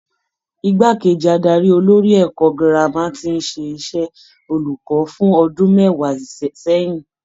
Igbákejì adarí olórí ẹ̀kọ́ girama tí ń ṣe iṣẹ́ olùkọ́ fún ọdún mẹ́wàá sẹ́yìn.